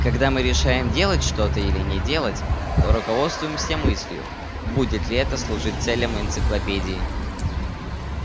когда мы решаем делать что-то или не делать то руководствуемся мыслью будет ли это служить целям энциклопедии